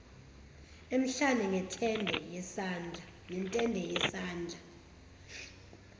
emhlane ngentende yesandla